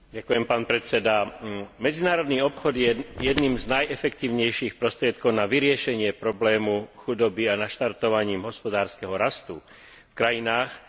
Medzinárodný obchod je jedným z najefektívnejších prostriedkov na vyriešenie problému chudoby a naštartovanie hospodárskeho rastu v krajinách zápasiacich s chudobou.